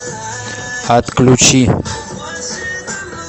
отключи